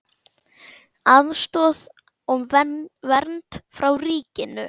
Aðstoð og vernd frá ríkinu